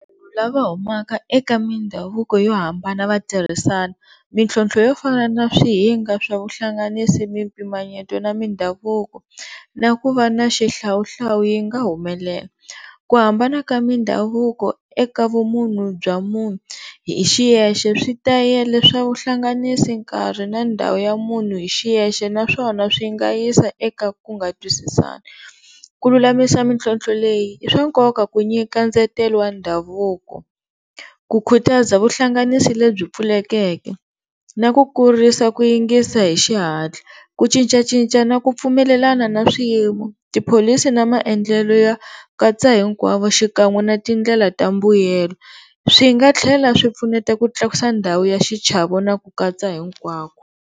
Lava humaka eka mindhavuko yo hambana va tirhisana mintlhontlho yo fana na swihinga swa vuhlanganisi, mimpimanyeto na mindhavuko na ku va na xihlawuhlawu yi nga humelela, ku hambana ka mindhavuko eka vumunhu bya munhu hi xiyexe, switayele swa vuhlanganisi, nkarhi na ndhawu ya munhu hi xiyexe na swona swi nga yisa eka ku nga twisisani. Ku lulamisa mintlhontlho leyi i swa nkoka ku nyika ndzetelo wa ndhavuko. Ku khutaza vuhlanganisi lebyi pfulekeke na ku kurisa ku yingisa hi xihatla, ku cincacinca na ku pfumelelana na swiyimo, tipholisi na maendlelo ya katsa hinkwavo xikan'we na tindlela ta mbuyelo swi nga tlhela swi pfuneta ku tlakusa ndhawu ya xichavo na ku katsa hinkwavu.